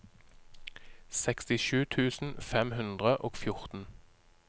sekstisju tusen fem hundre og fjorten